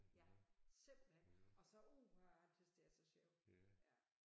Ja simpelthen og så uha jeg tys det er så sjov ja